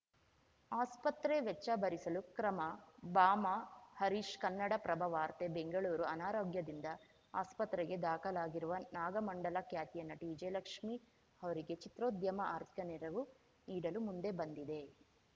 ಆಸ್ಪತ್ರೆ ವೆಚ್ಚ ಭರಿಸಲು ಕ್ರಮ ಬಾಮಾ ಹರೀಶ್‌ ಕನ್ನಡಪ್ರಭ ವಾರ್ತೆ ಬೆಂಗಳೂರು ಅನಾರೋಗ್ಯದಿಂದ ಆಸ್ಪತ್ರೆಗೆ ದಾಖಲಾಗಿರುವ ನಾಗಮಂಡಲ ಖ್ಯಾತಿಯ ನಟಿ ವಿಜಯಲಕ್ಷ್ಮಿ ಅವರಿಗೆ ಚಿತ್ರೋದ್ಯಮ ಆರ್ಥಿಕ ನೆರವು ನೀಡಲು ಮುಂದೆ ಬಂದಿದೆ